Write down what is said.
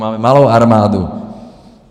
Máme malou armádu.